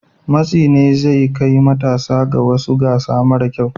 Matsi ne zai kai matasa ga wasu gasa mara kyau.